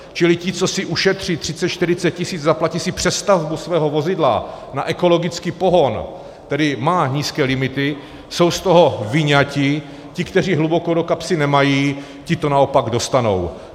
Čili ti, co si ušetří 30-40 tisíc, zaplatí si přestavbu svého vozidla na ekologický pohon, který má nízké limity, jsou z toho vyňati, ti, kteří hluboko do kapsy nemají, ti to naopak dostanou.